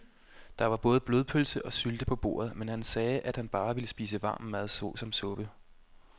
Der var både blodpølse og sylte på bordet, men han sagde, at han bare ville spise varm mad såsom suppe.